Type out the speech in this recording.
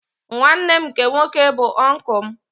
Nwanne m nke nwoke bụ oncul m